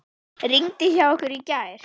Rigndi hjá ykkur í gær?